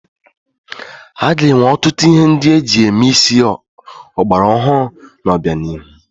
A ga-enwe ọtụtụ ihe ndị eji eme isi ọgbara ọhụrụ n'obianihu.